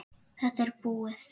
Þetta er búið!